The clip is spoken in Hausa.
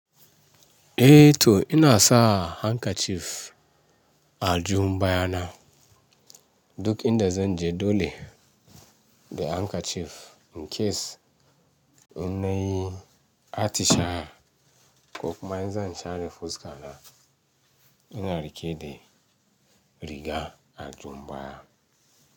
Eh to ina sa handkerchief a aljihun baya na. Duk inda zan je, dole da handkerchief in case in nayi atishawa ko kuma in zan share fuska na. Ina riƙe da riga a aljihun baya.